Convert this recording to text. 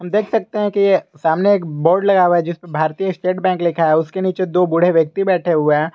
देख सकते है कि ये सामने एक बोर्ड लगा हुआ है जिसपे भारतीय स्टेट बैंक लिखा है उसके नीचे दो बूढ़े व्यक्ति बैठे हुए हैं।